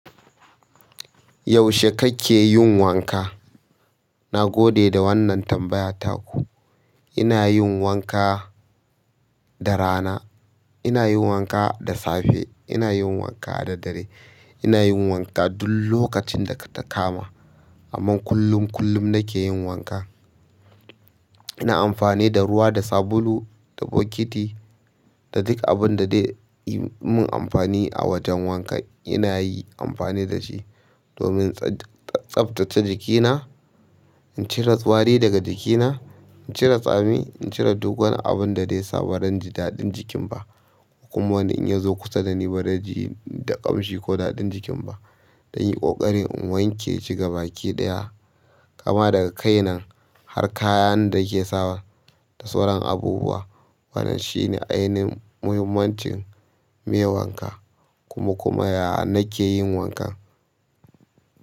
Yaushe kake yin wanka? Na gode da wannan tambayar taku. Ina yin wanka da rana ina yin wanka da safe ina yin wanka da daddre ina yin wanka duk lokacin data kama amma kullum kullum nake wanka ina amfani da ruwa, da sabulu, da bukiti, da duk abin da zai yi mun amfani a wajen wanka ina yi amfani da shi domin tsaftace jikina, in cire wari daga jikina, in cire tsami, in cire duk wani abun da zai saba ran ji daɗin jikin ba kuma wani in yazu kusa dani baze ji da ƙamshi ku daɗin jikin ba dan yin ƙoƙari in wanke shi ga baki ɗaya, kama daga kai nan har kayan da ke sawa da sauran abubuwa. Wannan shi ne ainihin muhimmancin me wanka kuma kuma ya nakeyin wankan.